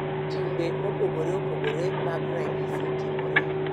Timbe mopogore opogore mag ranyisi timore.